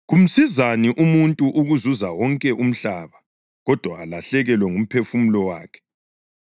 Kumsizani umuntu ukuzuza wonke umhlaba, kodwa alahlekelwe ngumphefumulo wakhe?